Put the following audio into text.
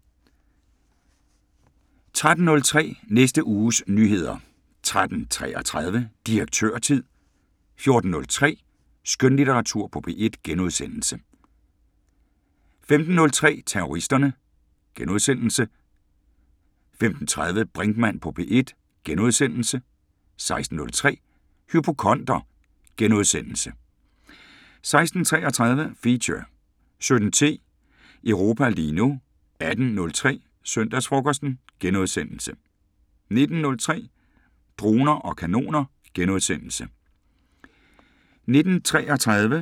13:03: Næste uges nyheder 13:33: Direktørtid 14:03: Skønlitteratur på P1 * 15:03: Terroristerne * 15:30: Brinkmann på P1 * 16:03: Hypokonder * 16:33: Feature 17:10: Europa lige nu 18:03: Søndagsfrokosten * 19:03: Droner og kanoner *